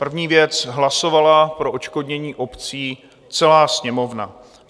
První věc, hlasovala pro odškodnění obcí celá Sněmovna.